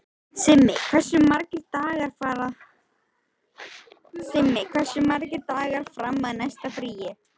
Simmi, hversu margir dagar fram að næsta fríi?